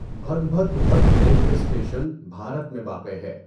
بھدبھدغت railway station Bharat میں واقع ہے۔